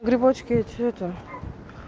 грибочки эти это